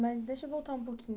Mas deixa eu voltar um pouquinho.